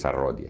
Rodia.